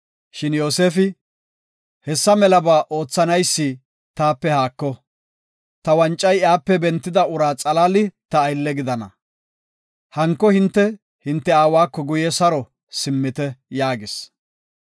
Shin Yoosefi, “Hessa melaba oothanaysi taape haako; ta wancay iyape bentida ura xalaali ta aylle gidana. Hanko hinte hinte aawako guye saro simmite” yaagis.